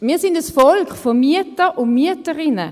Wir sind ein Volk von Mietern und Mieterinnen.